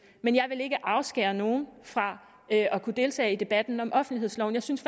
men jeg vil ikke afskære nogen fra at kunne deltage i debatten om offentlighedsloven jeg synes